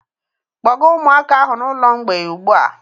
Kpọga ụmụaka ahụ n'ụlọ mgbei ugbu a!